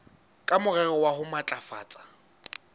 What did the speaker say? ka morero wa ho matlafatsa